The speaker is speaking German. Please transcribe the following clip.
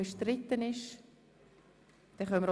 – Das ist nicht der Fall.